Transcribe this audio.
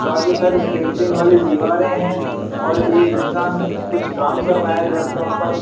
काफी सारी पेंटिंग वाली दीवारें हैं और एक इंसान कुछ काम कर रहा है लैपटॉप पर--